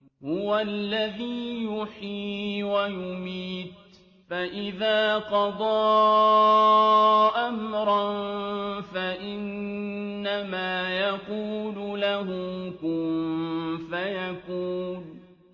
هُوَ الَّذِي يُحْيِي وَيُمِيتُ ۖ فَإِذَا قَضَىٰ أَمْرًا فَإِنَّمَا يَقُولُ لَهُ كُن فَيَكُونُ